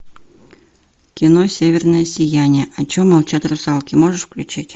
кино северное сияние о чем молчат русалки можешь включить